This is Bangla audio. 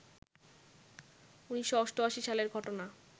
১৯৮৮ সালের ঘটনা